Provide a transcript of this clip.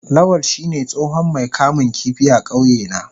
Lawal shine tsohon Mai kamun kifi a kauyena.